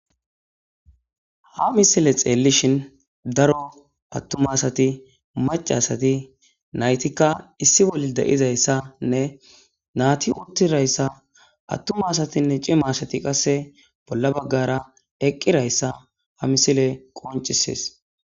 ha misile xeellishhin daro attumasati macasati naytikka issi boli de7izayssanne naati uttirayssa attumasatinne cimasati qasse bolla baggara eqqirayssa ha misile qoncisees